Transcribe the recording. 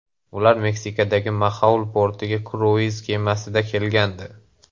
Ular Meksikadagi Maxaul portiga kruiz kemasida kelgandi.